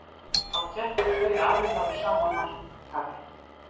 Þá keppa tveir aðilar á sama markaði.